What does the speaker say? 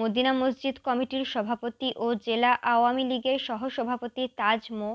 Medina মসজিদ কমিটির সভাপতি ও জেলা আওয়ামীলীগের সহসভাপতি তাজ মো